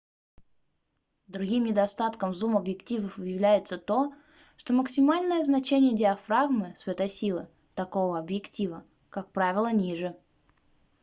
другим недостатком зум-объективов является то что максимальное значение диафрагмы светосилы такого объектива как правило ниже